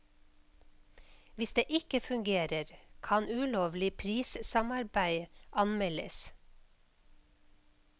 Hvis det ikke fungerer, kan ulovlig prissamarbeid anmeldes.